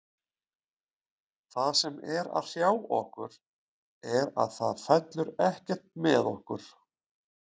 Það sem er að hrjá okkur er að það fellur ekkert með okkur.